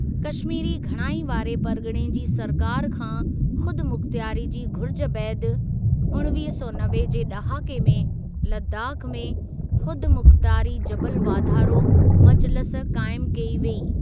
कश्मीरी घणाई वारी परगि॒णे जी सरकार खां ख़ुदमुख़्तारी जी घुरजि बैदि, उणिवीह सौ नवे जे ड॒हाके में लद्दाख में ख़ुदमुख़्तारी जबल वाधारो मजलिसु क़ाइमु कई वेई।